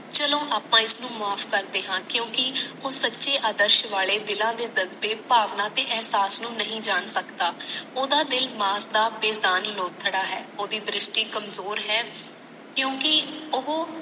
ਚਲੋ ਆਪਾ ਇਸਨੂੰ ਮਾਫ ਕਰਦੇ ਹੈ ਕਿਉਂਕਿ ਉਸ ਸਾਚੇ ਅਰਦਸ਼ ਵਾਲੇ ਦਿਲ ਦੇ ਦਰ ਤੇ ਭਾਵਨਾ ਤੇ ਅਹਿਸਾਸ ਨੂੰ ਨਹੀਂ ਜਾਨ ਸਕਦਾ ਓਦਾਂ ਦਿਲ ਮਨਦਾਰ ਓਦੀ ਦਰਿਸ਼ਟੀ ਕਮਜ਼ੋਰ ਹੈ ਕਿਉਂਕਿ ਓਹੋ